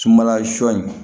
Sunbala sɔ in